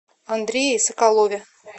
андрее соколове